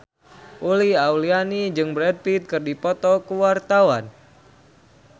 Uli Auliani jeung Brad Pitt keur dipoto ku wartawan